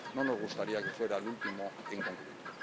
No nos gustaría que fuera el último en concluirlo.